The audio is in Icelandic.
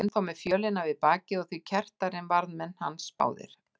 Hann var enn þá með fjölina við bakið og því kerrtari en varðmenn hans báðir.